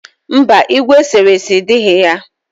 Mba, igwe eserese dighi ya.